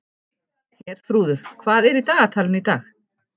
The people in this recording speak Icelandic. Herþrúður, hvað er í dagatalinu í dag?